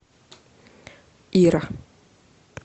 ира